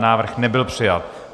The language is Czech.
Návrh nebyl přijat.